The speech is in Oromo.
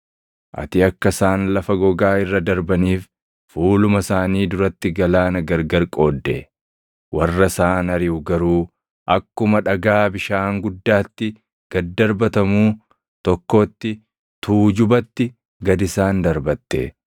Ati akka isaan lafa gogaa irra darbaniif fuuluma isaanii duratti galaana gargar qoodde; warra isaan ariʼu garuu akkuma dhagaa bishaan guddaatti gad darbatamuu tokkootti tuujubatti gad isaan darbatte.